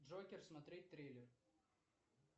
джокер смотреть трейлер